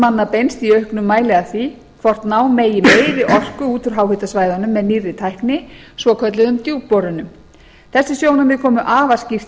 manna beinst í auknum mæli að því hvort ná megi meiri orku út úr háhitasvæðunum með nýrri tækni svokölluðum djúpborunum þessi sjónarmið komu afar skýrt